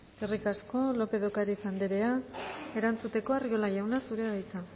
eskerrik asko lópez de ocariz andrea erantzuteko arriola jauna zurea da hitza